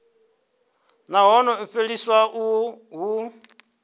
nahone u fheliswa uho hu